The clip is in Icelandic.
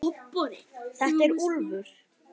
Þetta er Úlfur.